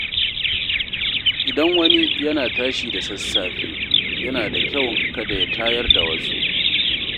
Idan wani yana tashi da sassafe, yana da kyau kada ya tayar da wasu.